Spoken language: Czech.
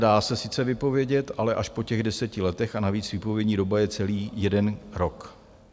Dá se sice vypovědět, ale až po těch deseti letech a navíc výpovědní doba je celý jeden rok.